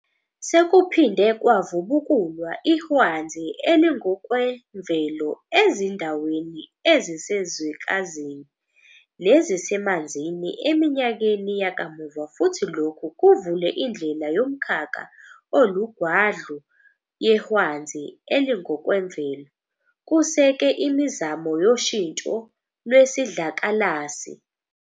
Sekuphinde kwavubukulwa ihwanzi elingokwenvelo ezindaweni ezisezwekazini, nezisemanzini eminyakeni yakamuva futhi lokhu kuvule indlela yomkhakha olugwadlu yehwanzi elingokwemvelo, kuseke imizamo yoshintsho lwesidlakalasi.